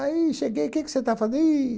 Aí cheguei, que que você está fazen ih